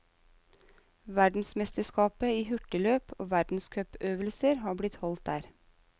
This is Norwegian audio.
Verdensmesterskapet i hurtigløp og verdenscupøvelser har blitt holdt der.